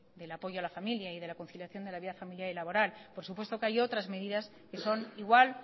del apoyo a la familia y de la conciliación de la vida familiar y laboral por supuesto que hay otras medidas que son igual